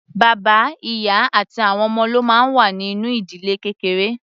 Bàbá, ìyá àti àwọn ọmọ ló máa ń wà nínú ìdílé kékeré.